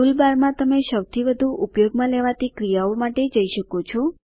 tool બારમાં તમે સૌથી વધુ ઉપયોગમાં લેવાતી ક્રિયાઓ માટે જઈ શકો છો